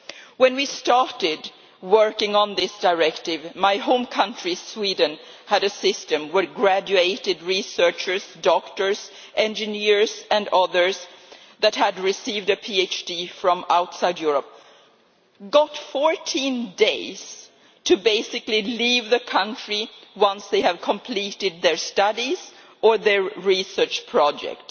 When we started working on this directive, my home country, Sweden, had a system where graduate researchers, doctors, engineers and others who had received a PhD from outside Europe were given 14 days to basically leave the country once they had completed their studies or their research projects.